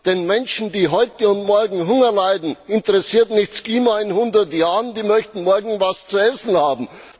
Die Menschen, die heute und morgen Hunger leiden, interessiert nicht das Klima in hundert Jahren, die möchten morgen etwas zu essen haben!